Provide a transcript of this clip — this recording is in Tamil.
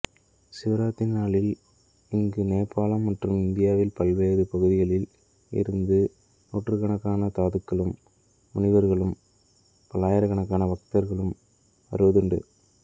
சிவராத்திரி நாளில் இங்கு நேபாளம் மற்றும் இந்தியாவின் பல்வேறு பகுதிகளில் இருந்து நூற்றுக்கணக்கான சாதுக்களும் முனிவர்கள் பல்லாயிரக்கணக்கான பக்தர்களும் வருவதுண்டு